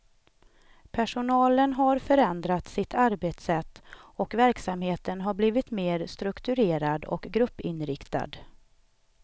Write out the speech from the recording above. Personalen har förändrat sitt arbetssätt, och verksamheten har blivit mer strukturerad och gruppinriktad.